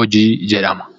hojii jedhama.